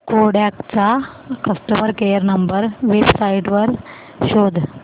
Kodak चा customer care number website वर शोध